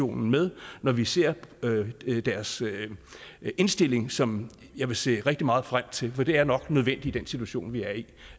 med når vi ser deres indstilling som jeg vil se rigtig meget frem til for det er nok nødvendigt i den situation vi er i